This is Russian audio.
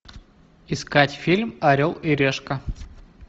искать фильм орел и решка